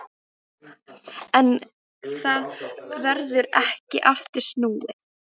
En það verður ekki aftur snúið.